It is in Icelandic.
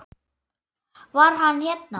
Var hann hérna?